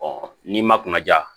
n'i ma kunnaja